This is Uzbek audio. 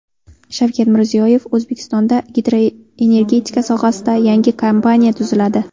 Shavkat Mirziyoyev: O‘zbekistonda gidroenergetika sohasida yangi kompaniya tuziladi.